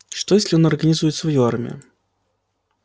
что если он организует свою армию